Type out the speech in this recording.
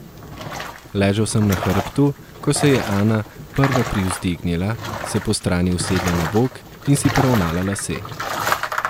Ležal sem na hrbtu, ko se je Ana prva privzdignila, se postrani usedla na bok in si poravnala lase.